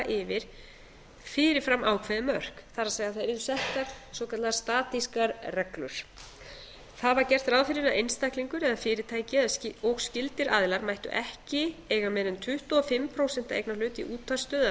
yfir fyrirframákveðin mörk það er að það yrðu settar svokallaðar statískar reglur það var gert ráð fyrir að einstaklingur eða fyrirtæki og skyldir aðilar mættu ekki eiga meira en tuttugu og fimm prósent eignarhlut í útvarpsstöð eða